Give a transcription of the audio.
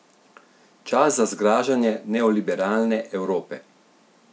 Čas za zgražanje neoliberalne Evrope?